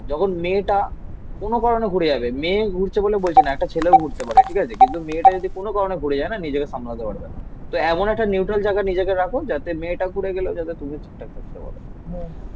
যখন মেয়েটা কোন কারণে ঘুরে যাবে. মেয়ে ঘুরছে বলে বলছে না. একটা ছেলেও ঘুরতে পারে. ঠিক আছে. কিন্তু মেয়েটা যদি কোন কারণে ঘুরে যায় না, নিজেকে সামলাতে পারবে না. তো এমন একটা neutral জায়গা নিজেকে রাখো, যাতে মেয়েটা ঘুরে গেলেও যাতে তুমি ঠিকঠাক থাকতে পারো.